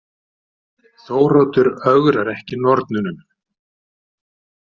Þóroddur ögrar ekki nornunum.